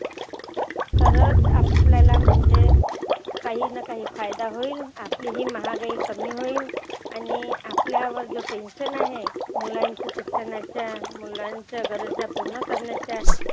तरचं आपल्याला म्हणजे काहिना काही फायदा होईल आपली ही महागाई कमी होईल. आणि आपल्यावर जो tension आहे मुलांच्या शिक्षणाचा, मुलांच्या गरजा पुर्ण करण्याचा